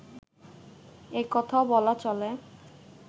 একথাও বলা চলে